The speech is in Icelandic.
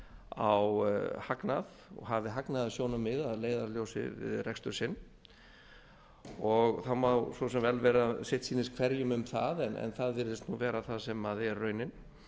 á hagnað og hafi hagnaðarsjónarmið að leiðarljósi við rekstur sinn það má svo sem vel vera að sitt sýnist hverjum um það en það virðist vera það sem er raunin